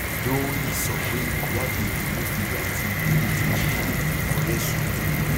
adonri sọ pé ìjáde emefiele àti ìlérí tinubu yóò gbé forex ró